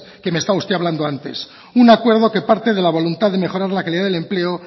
que me está usted hablando antes un acuerdo que parte de la voluntad de mejorar la calidad del empleo